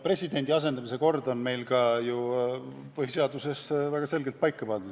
Presidendi asendamise kord on meil põhiseaduses väga selgelt paika pandud.